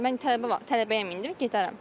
Mən tələbəyəm indi gedərəm.